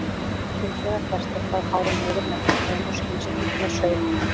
Hins vegar berst eitthvað af hárum niður meltingarveginn og skilst út með saur.